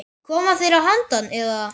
Koma þeir að handan, eða?